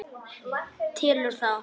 Telur þá.